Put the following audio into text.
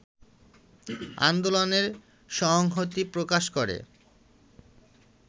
আন্দোলনে সংহতি প্রকাশ করে